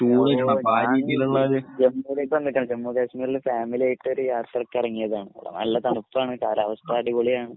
. പ്രദേശങ്ങളിൽ ഫാമിലിയായിട്ട് ഒരു യാത്രയ്ക്ക് ഇറങ്ങിയതാണ്. ഇവിടെ നല്ല തണുപ്പാണ്. കാലാവസ്ഥ അടിപൊളിയാണ്.